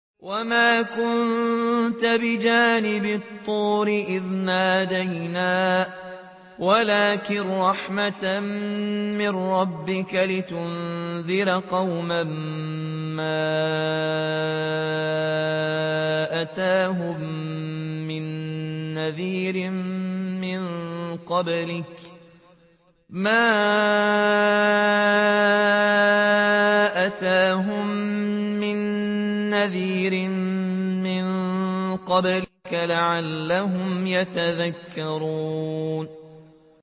وَمَا كُنتَ بِجَانِبِ الطُّورِ إِذْ نَادَيْنَا وَلَٰكِن رَّحْمَةً مِّن رَّبِّكَ لِتُنذِرَ قَوْمًا مَّا أَتَاهُم مِّن نَّذِيرٍ مِّن قَبْلِكَ لَعَلَّهُمْ يَتَذَكَّرُونَ